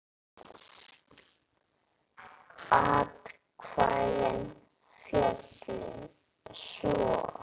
Atkvæði féllu svo